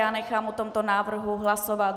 Já nechám o tomto návrhu hlasovat.